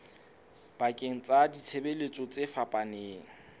bakeng sa ditshebeletso tse fapaneng